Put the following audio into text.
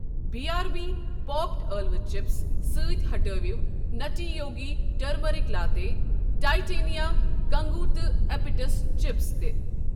B R B popped ٲلوٕ chips سۭتۍ ہٹاو نَٹی یوگی ٹٔرمٔرِک لاتے ، ٹایٹینِیا کنٛگو تہٕ ایپٹس چپس تہِ۔